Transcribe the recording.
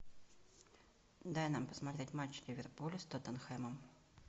дай нам посмотреть матч ливерпуля с тоттенхэмом